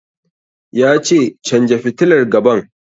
Ya ce 'Canja fitilar gaban'!